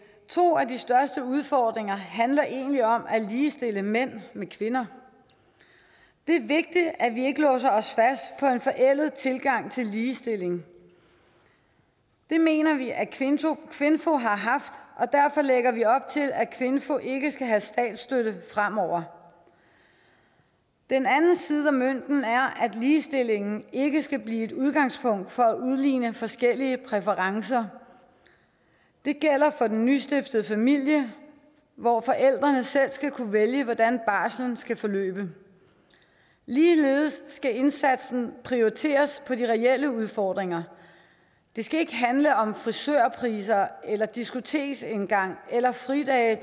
to af de største udfordringer handler egentlig om at ligestille mænd med kvinder det er vigtigt at vi ikke låser os fast på en forældet tilgang til ligestilling det mener vi at kvinfo kvinfo har haft og derfor lægger vi op til at kvinfo ikke skal have statsstøtte fremover den anden side af mønten er at ligestillingen ikke skal blive et udgangspunkt for at udligne forskellige præferencer det gælder for den nystiftede familie hvor forældrene selv skal kunne vælge hvordan barslen skal forløbe ligeledes skal indsatsen prioriteres i til de reelle udfordringer det skal ikke handle om frisørpriser eller diskoteksindgang eller fridage